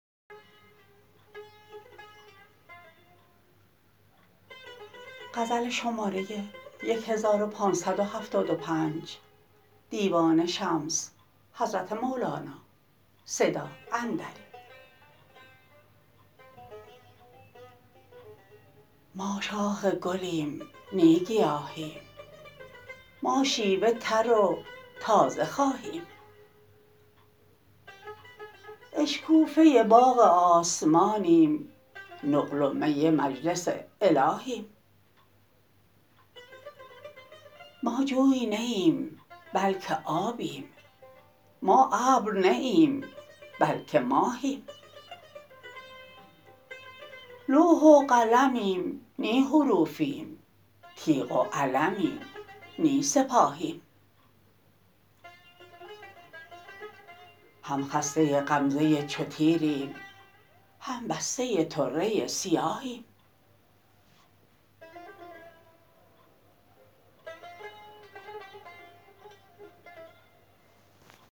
ما شاخ گلیم نی گیاهیم ما شیوه تر و تازه خواهیم اشکوفه باغ آسمانیم نقل و می مجلس الهیم ما جوی نه ایم بلک آبیم ما ابر نه ایم بلک ماهیم لوح و قلمیم نی حروفیم تیغ و علمیم نی سپاهیم هم خسته غمزه چو تیریم هم بسته طره سیاهیم